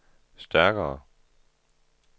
stærkere